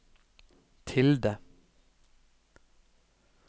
tilde